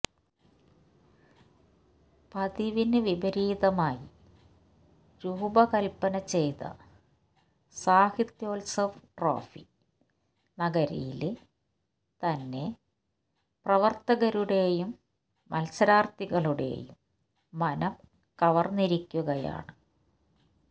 പതിവിന് വിപരീതമായി രൂപ കല്പ്പന ചെയ്ത സാഹിത്യോത്സവ് ട്രോഫി നഗരിയില് തന്നെ പ്രവരരര്ത്തകരുടെയും മത്സരാര്ഥികളുടെയും മനം കവര്ന്നിരിക്കുകയാണ്